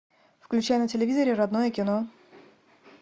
включай на телевизоре родное кино